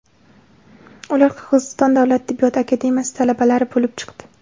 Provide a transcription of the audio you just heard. Ular Qirg‘iziston davlat tibbiyot akademiyasi talabalari bo‘lib chiqdi.